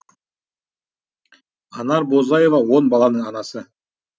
анар бозаева он баланың анасы